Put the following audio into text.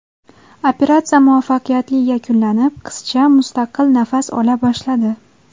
Operatsiya muvaffaqiyatli yakunlanib, qizcha mustaqil nafas ola boshladi.